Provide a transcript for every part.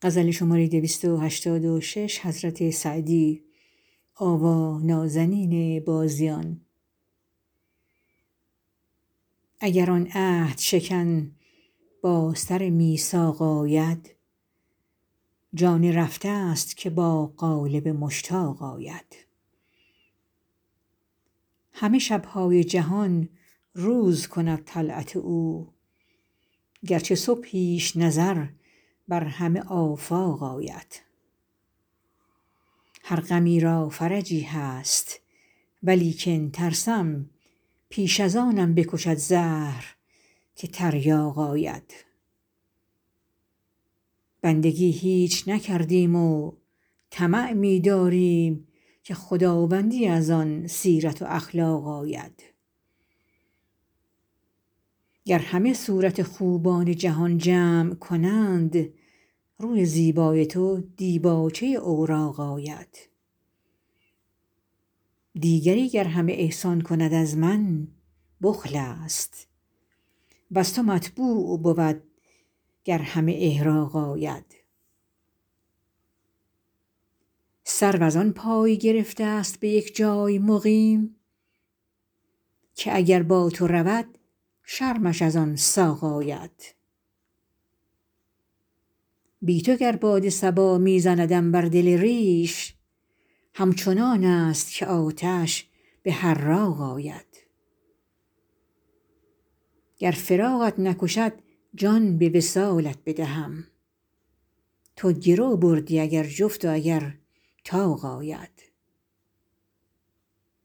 اگر آن عهدشکن با سر میثاق آید جان رفته ست که با قالب مشتاق آید همه شب های جهان روز کند طلعت او گر چو صبحیش نظر بر همه آفاق آید هر غمی را فرجی هست ولیکن ترسم پیش از آنم بکشد زهر که تریاق آید بندگی هیچ نکردیم و طمع می داریم که خداوندی از آن سیرت و اخلاق آید گر همه صورت خوبان جهان جمع کنند روی زیبای تو دیباچه اوراق آید دیگری گر همه احسان کند از من بخل است وز تو مطبوع بود گر همه احراق آید سرو از آن پای گرفته ست به یک جای مقیم که اگر با تو رود شرمش از آن ساق آید بی تو گر باد صبا می زندم بر دل ریش همچنان است که آتش که به حراق آید گر فراقت نکشد جان به وصالت بدهم تو گرو بردی اگر جفت و اگر طاق آید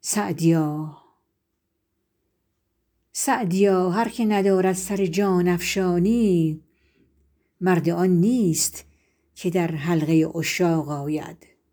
سعدیا هر که ندارد سر جان افشانی مرد آن نیست که در حلقه عشاق آید